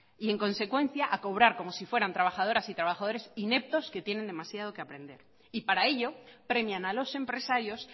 y en consecuencia a cobrar como si fueran trabajadoras y trabajadores ineptos que tienen demasiado que aprender y para ello premian a los empresarios